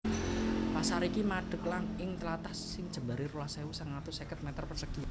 Pasar iki madeg ing tlatah sing jembaré rolas ewu sangang atus seket meter persegi